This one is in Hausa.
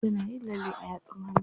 Tana yin lalle a yatsun hannu.